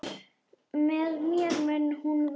Með mér mun hún vaka.